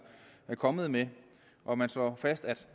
kommet med hvor man slår fast at